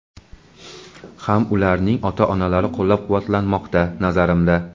ham ularning ota-onalari qo‘llab-quvvatlanmoqda, nazarimda.